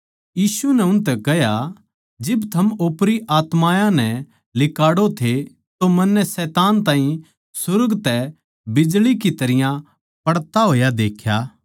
यीशु नै उनतै कह्या जिब थम ओपरी आत्मायाँ नै लिकाड़ो थे तो मन्नै शैतान ताहीं सुर्ग तै बिजळी की तरियां पड़ता होया देख्या